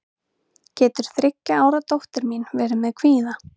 getur þriggja ára dóttir mín verið með kvíða